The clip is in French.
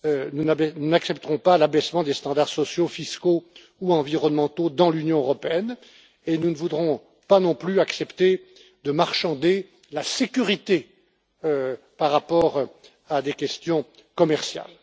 Nous n'accepterons pas l'abaissement des normes sociales, fiscales ou environnementales dans l'Union européenne et nous ne voudrons pas non plus accepter de marchander la sécurité par rapport à des questions commerciales.